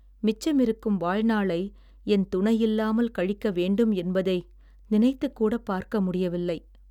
மிச்சமிருக்கும் வாழ்நாளை என் துணை இல்லாமல் கழிக்கவேண்டும் என்பதை நினைத்துக் கூடப் பார்க்க முடியவில்லை.